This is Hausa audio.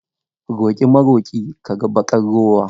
Roƙi maroƙi ka ga baƙar rowa.